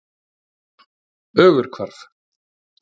Ögurhvarfi